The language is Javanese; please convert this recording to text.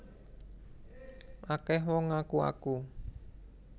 Akeh wong ngaku aku